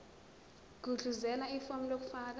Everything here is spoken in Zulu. gudluzela ifomu lokufaka